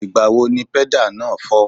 Ìgbà wo ni pẹ́dà náà fọ́?